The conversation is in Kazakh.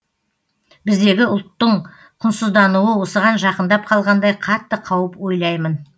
біздегі ұлттың құнсыздануы осыған жақындап қалғандай қатты қауіп ойлаймын